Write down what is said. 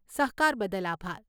સહકાર બદલ આભાર.